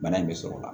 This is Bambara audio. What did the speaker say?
Bana in bɛ sɔrɔ o la